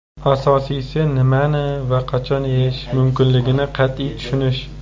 Asosiysi nimani va qachon yeyish mumkinligini qat’iy tushunish.